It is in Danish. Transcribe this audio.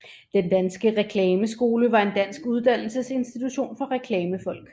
Den Danske Reklameskole var en dansk uddannelsesinstitution for reklamefolk